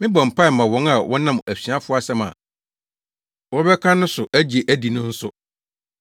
“Memmɔ mpae mma wɔn nko. Mebɔ mpae ma wɔn a wɔnam asuafo asɛm a wɔbɛka no so agye adi no nso.